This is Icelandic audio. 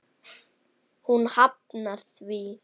Hún hafnar því.